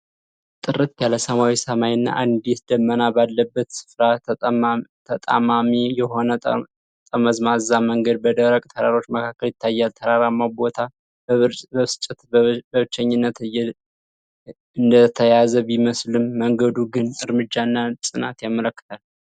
ጥርት ያለ ሰማያዊ ሰማይና አንዲት ደመና ባለበት ስፍራ፤ ተጣማሚ የሆነ ጠመዝማዛ መንገድ በደረቅ ተራሮች መካከል ይታያል። ተራራማው ቦታ በብስጭትና በብቸኝነት እንደተያዘ ቢመስልም፤ መንገዱ ግን እርምጃንና ጽናትን ያመለክታል።